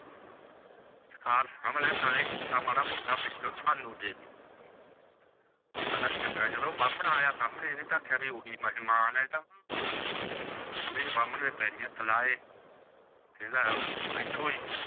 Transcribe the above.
ਨਾਲ ਇਹ ਕਿੱਸਾ ਮਾਦਾ ਮੋਟਾ ਵਿਚੋ ਸਾਨੂ ਦੇ ਦੇ ਓਹ ਕਹਿੰਦਾ ਚੰਗਾ ਜਦੋ ਬਾਮਨ ਆਯਾ ਸਾਮਨੇ ਓਹ ਤਾ ਓਹੀ ਮੇਹਮਾਨ ਹੈ ਇਹ ਤਾ ਓਹਨੇ ਬਾਮਨ ਦੇ ਪੈਰੀ ਹੱਥ ਲਾਏ ਕਹੰਦਾ ਬੈਠੋ ਜੀ